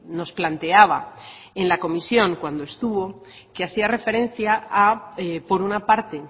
nos planteaba en la comisión cuando estuvo que hacía referencia por una parte